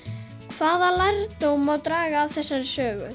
hvaða lærdóm má draga af þessari sögu